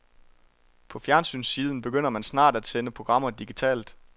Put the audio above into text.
På fjernsynssiden begynder man snart at sende programmer digitalt.